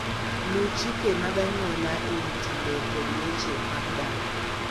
Luw chike mag anyuola e wi timbe kod weche mag dak.